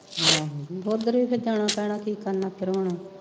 ਹਾਂ, ਓਦਰ ਵੀ ਜਾਣਾ ਪੈਣਾ ਕੀ ਕਰਨ ਫਿਰ ਹੁਣ